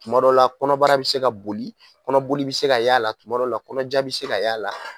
Kuma dɔw la kɔnɔbara bi se ka boli, kɔnɔboli bi se ka y'a la, kuma dɔw la kɔnɔjan bi se ka y'a la